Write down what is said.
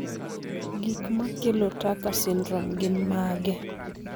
Gik makelo Tucker syndrome gin mage?